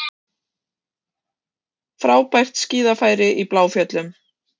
Hann var víðsýnn, frjálslyndur, og andsnúinn þrælahaldi, kynþáttahatri og þjóðrembingi.